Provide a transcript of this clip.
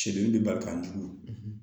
Cɛden bɛ barika jugu